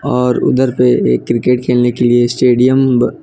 और उधर पे एक क्रिकेट खेलने के लिए स्टेडियम ब --